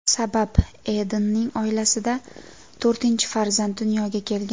Sabab Edenning oilasida to‘rtinchi farzand dunyoga kelgan.